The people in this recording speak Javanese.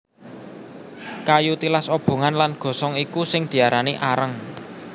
Kayu tilas obongan lan gosong iku sing diarani areng